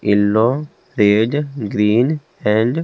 yellow red green and --